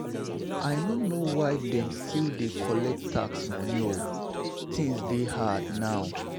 I no know why dem still dey collect tithe moni o, tins dey hard now.